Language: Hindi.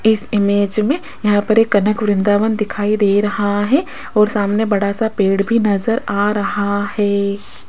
इस इमेज में यहां पर एक कनक वृंदावन दिखाई दे रहा है और सामने बड़ा सा पेड़ भी नजर आ रहा है।